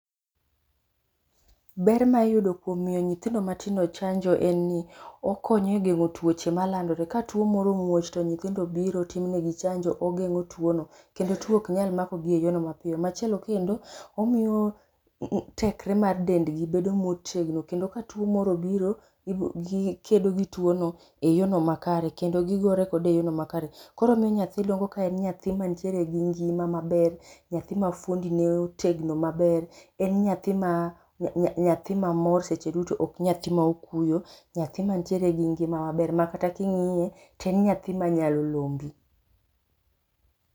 Ber ma iyudo kuom miyo nyithindo matindo chanjo en ni okonyo e gengo tuoche malandore. Ka tuo moro omuoch to nyithindo biro timnegi chanjo ogengo tuo no kendo tuo ok nyal makogi e yono mapiyo. Machielo kendo omiyo tekre ma dendgi bedo ma otegno kendo ka tuo moro obiro gikedo gi tuo no e yono makare kendo gigore kode e yono makare koro omiyo nyathi dongo ka entiere gi ngima maber, nyathi ma fuondi ne otegno maber ,en nyathi ma ,nyathi ma mor seche duto ok nyathi ma okuyo, nyathi ma nitiere gi ngima maber makata kingiye toen nyahi manyalo lombi